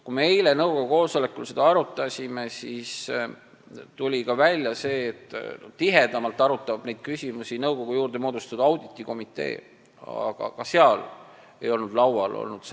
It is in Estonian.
Kui me eile nõukogu koosolekul seda arutasime, siis tuli välja ka see, et tihedamalt arutab neid küsimusi nõukogu juurde moodustatud auditikomitee, aga ka seal ei olnud seda teemat laual olnud.